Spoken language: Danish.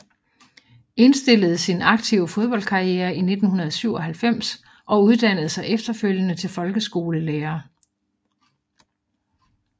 Indstillede sin aktive fodboldkarriere i 1997 og uddannede sig efterfølgende til folkeskolelærer